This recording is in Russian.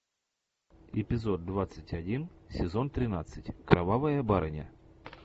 эпизод двадцать один сезон тринадцать кровавая барыня